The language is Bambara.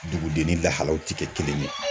Duguden ni lahalaw tɛ kɛ kelen ye.